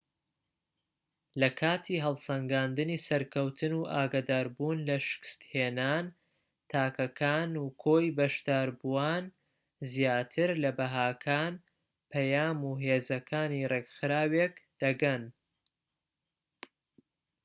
لە کاتی هەڵسەنگاندنی سەرکەوتن و ئاگادار بوون لە شکستهێنان تاکەکان و کۆی بەشداربووان زیاتر لە بەهاکان پەیام و هێزەکانی ڕێکخراوێک دەگەن